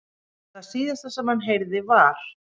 Það síðasta sem hann heyrði var.